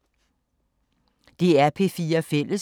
DR P4 Fælles